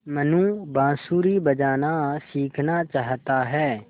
मनु बाँसुरी बजाना सीखना चाहता है